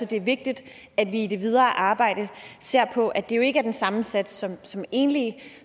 det er vigtigt at vi i det videre arbejde ser på at det jo ikke er den samme sats som enlige